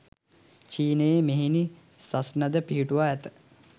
චීනයේ මෙහෙණි සස්නද, පිහිටුවා ඇත.